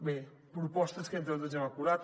bé propostes que entre tots hem acordat